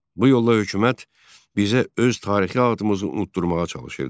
Bu yolla hökumət bizə öz tarixi adımızı unutdurmağa çalışırdı.